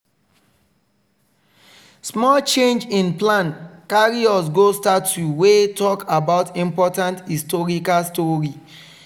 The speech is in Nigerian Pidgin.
small change in plan carry us go statue wey talk about important historical story.